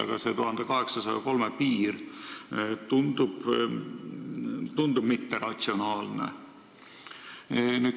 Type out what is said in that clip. Aga sissetuleku piir 1803 eurot tundub olevat ebaratsionaalne.